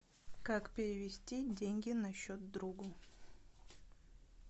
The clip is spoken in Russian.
как перевести деньги на счет другу